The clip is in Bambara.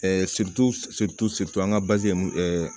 an ka ye mun